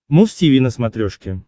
муз тиви на смотрешке